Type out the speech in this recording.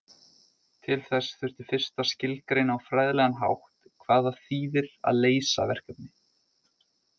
Til þess þurfti fyrst að skilgreina á fræðilegan hátt hvað það þýðir að leysa verkefni.